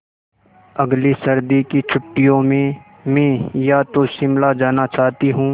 अगली सर्दी की छुट्टियों में मैं या तो शिमला जाना चाहती हूँ